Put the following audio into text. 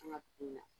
An ka kun na